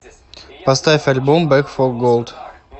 поставь альбом бэк фо голд